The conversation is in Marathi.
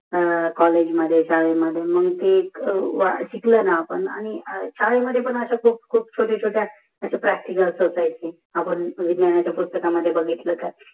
अं कॉलेज मध्ये शाळेमध्ये मग ते शिकाल न आपण शाळेमध्ये पण शोते शोते खूप छोट्या छोट्या अश्या असायचे आपण विज्ञानाच्या पुस्कातकामधे बघितल